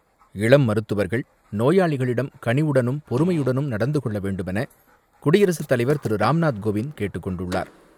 இளம் மருத்துவர்கள் நோயாளிகளிடம் கனிவுடனும், பொறுமையுடனும் நடந்து கொள்ள வேண்டுமென குடியரசு தலைவர் திரு ராம்நாத் கோவிந்த் கேட்டுக் கொண்டுள்ளார்.